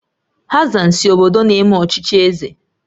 Hassan si obodo na-eme ọchịchị eze